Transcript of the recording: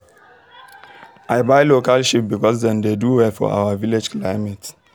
i buy local sheep because dem dey do well for our village climate